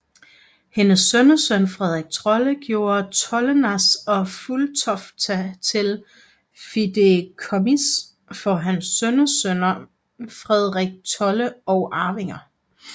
Hendes sønnesøn Fredrik Trolle gjorde Trollenäs og Fulltofta til fideikommis for hans sønnesøn Fredrik Trolle og arvinger